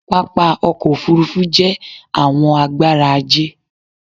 Pápá ọkọ̀ òfurufú jé àwọn agbára ajé